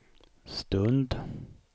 stund